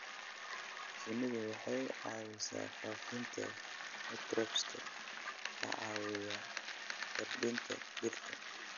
Shinnidu waxay caawisaa faafinta microbes-ka caawiya koritaanka dhirta.